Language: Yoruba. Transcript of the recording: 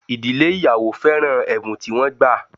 Idile ìyàwó féràn ẹ̀bùn tí wọ́n gbà